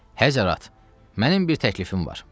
Həzərat, mənim bir təklifim var.